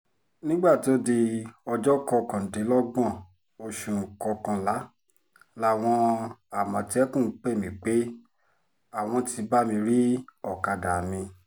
nígbà tó di ọjọ́ kọkàndínlọ́gbọ̀n oṣù kọkànlá làwọn àmọ̀tẹ́kùn pè mí pé àwọn ti bá mi rí ọ̀kadà mi